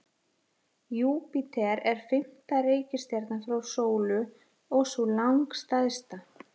Júpíter er fimmta reikistjarnan frá sólu og sú langstærsta.